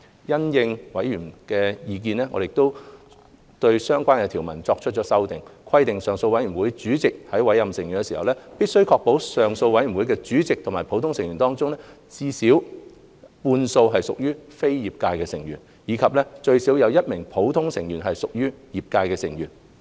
因應委員的意見，我們對相關條文作出了修訂，規定上訴委員團主席在委任成員時，必須確保上訴委員團主席及普通成員中最少半數屬非業界成員；以及最少1名普通成員屬業界成員。